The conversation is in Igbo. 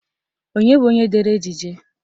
Onye bụ onye dere ejije?